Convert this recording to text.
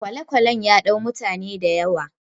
kwale-kwalen ya dau mutane da yawa